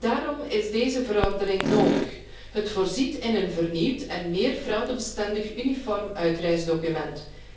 Daarom is deze verordening nodig. Ze voorziet in een vernieuwd en meer fraudebestendig uniform uitreisdocument.